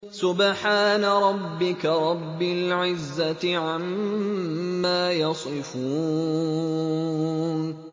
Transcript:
سُبْحَانَ رَبِّكَ رَبِّ الْعِزَّةِ عَمَّا يَصِفُونَ